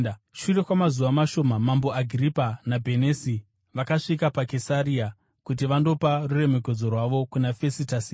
Shure kwamazuva mashoma, Mambo Agiripa naBhenisi vakasvika paKesaria kuti vandopa ruremekedzo rwavo kuna Fesitasi.